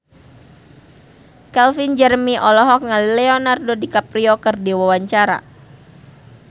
Calvin Jeremy olohok ningali Leonardo DiCaprio keur diwawancara